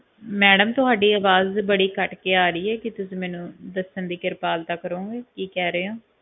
madam ਤੁਹਾਡੀ ਅਵਾਜ ਬੜੀ ਕੱਟ ਕੇ ਆ ਰਹੀ ਆ ਕਿ ਤੁਸੀਂ ਮੈਨੂੰ ਦੱਸਣ ਦੀ ਕਿਰਪਾਲਤਾ ਕਰੋਂਗੇ ਕੀ ਕਹਿ ਰਹੇ ਹੋ